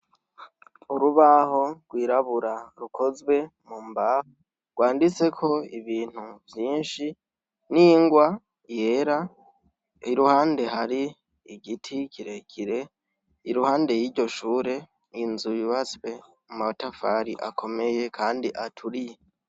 Urubaho gwirabura rukozwe mumbaho gwanditseko ibintu vyinshi n' ingwa yera iruhande hari igiti kire kire iruhande y' iryo shure inzu yubatswe mu matafari akomeye kandi aturiye.